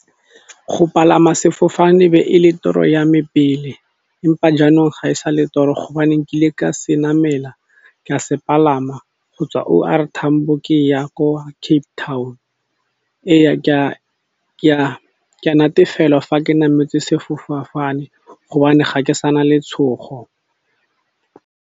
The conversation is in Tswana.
Go palama sefofane be e le toro yame pele empa jaanong ga e sa le toro hobane nkile ka se namela, ka se palama go tswa O R Tambo ke ya ko Cape Town ke a natefelwa fa ke nametse sefofane gobane ga ke sana letshogo.